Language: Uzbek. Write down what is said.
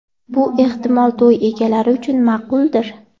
Bu, ehtimol to‘y egalari uchun ma’quldir.